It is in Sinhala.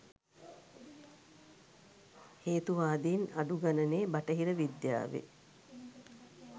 හේතුවාදීන් අඩුගනනේ බටහිර විද්‍යාවේ